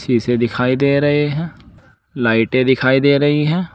इसे दिखाई दे रहे हैं लाइटें दिखाई दे रही हैं।